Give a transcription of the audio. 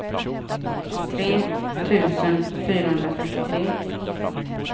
tre tusen fyrahundratrettiotre